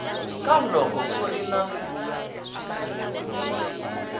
ka loko ku ri na